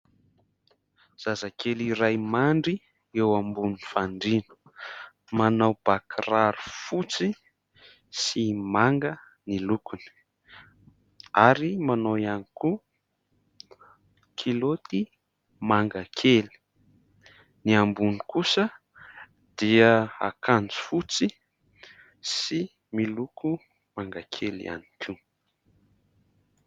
Zazakely iray mandry eo ambony fandriana, manao ba kiraro fotsy sy manga ny lokony ary manao ihany koa kilaoty manga kely, ny ambony kosa dia akanjo fotsy sy miloko manga kely ihany koa.